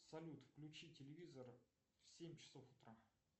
салют включи телевизор в семь часов утра